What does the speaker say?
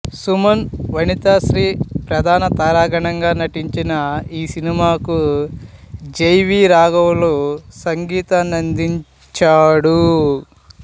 సుమన్ వనితశ్రీ ప్రధాన తారాగణంగా నటించిన ఈ సినిమాకు జె వి రాఘవులు సంగీతాన్నందించాడు